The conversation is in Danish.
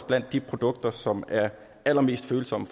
blandt de produkter som er allermest følsomme